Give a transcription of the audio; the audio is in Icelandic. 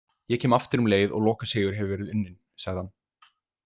Ég kem aftur um leið og lokasigur hefur verið unninn, sagði hann.